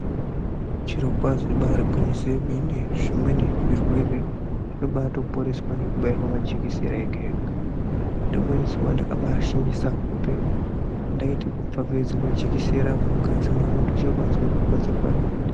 Zvirokwazvo ibari gwinyiso yemene zvimweni zvirwere zvinobatoponeswa nekubairwa majekisera ega ega. Rimweni zuwa ndakambashingisa hope ndabaita kufafaidzirwa jekisera mungazi mwangu ndochobazwa kurwadza kwerinoita.